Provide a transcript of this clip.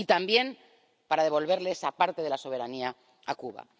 Y también para devolverle esa parte de la soberanía a Cuba.